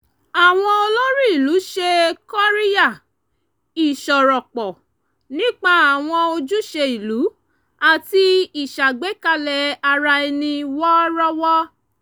àwọn olórí ìlú ṣe kóríyá ìsọ̀rọ̀pọ̀ nípa àwọn ojúṣe ìlú àti ìṣàgbékalẹ̀ ara ẹni wọ́rọ́wọ́